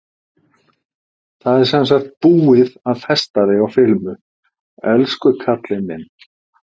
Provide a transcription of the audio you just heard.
Það er sem sagt búið að festa þig á filmu, elsku kallinn minn.